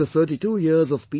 After 32 years of P